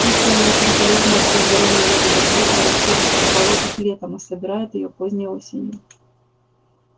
кислая и очень полезная для здоровья ягода клюква растёт в болотах летом а собирают её поздней осенью